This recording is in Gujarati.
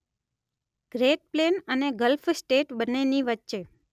ગ્રેટ પ્લેન અને ગલ્ફ સ્ટેટ બંનેની વચ્ચે